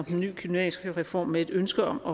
den nye gymnasiereform med et ønske om